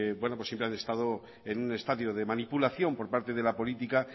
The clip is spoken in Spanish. siempre han estado en un estadio de manipulación por parte de la política